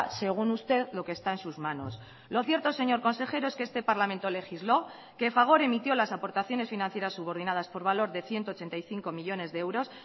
según usted lo que está en sus manos lo cierto señor consejero es que este parlamento legisló que fagor emitió las aportaciones financieras subordinadas por valor de ciento ochenta y cinco millónes de euros